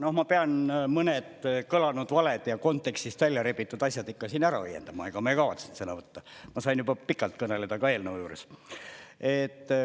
Noh, ma pean mõned kõlanud valed ja kontekstist välja rebitud asjad ikka siin ära õiendama, ega ma ei kavatsenud sõna võtta, ma sain juba pikalt kõneleda ka eelnõu juures.